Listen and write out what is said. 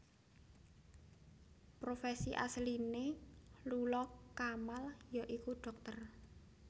Profesi asliné Lula Kamal ya iku dhokter